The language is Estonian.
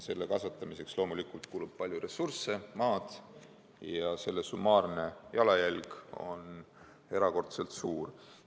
Selle kasvatamiseks loomulikult kulub palju ressursse, ka maad, ja selle summaarne jalajälg on erakordselt suur.